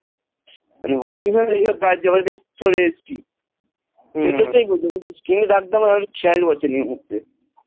মানে অনেকদিন হল এসব কাজ জমা দিয়ে চলে এসেছি, সেজন্য বলছি screen এর টা খেয়াল পড়ছে না এই মুহুর্তে